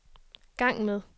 gang med